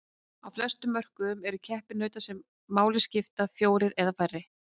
Á flestum mörkuðum eru keppinautar sem máli skipta fjórir eða færri.